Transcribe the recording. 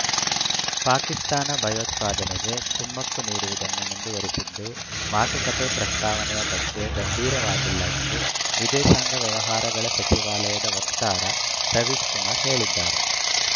ಪಾಕಿಸ್ತಾನ ಭಯೋತ್ಪಾದನೆಗೆ ಕುಮ್ಮಕ್ಕು ನೀಡುವುದನ್ನು ಮುಂದುವರಿಸಿದ್ದು ಮಾತುಕತೆ ಪ್ರಸ್ತಾವನೆಯ ಬಗ್ಗೆ ಗಂಭೀರವಾಗಿಲ್ಲ ಎಂದು ವಿದೇಶಾಂಗ ವ್ಯವಹಾರಗಳ ಸಚಿವಾಲಯದ ವಕ್ತಾರ ರವೀಶ್‌ ಕುಮರ್‌ ಹೇಳಿದ್ದಾರೆ